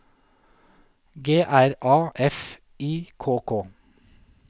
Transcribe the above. G R A F I K K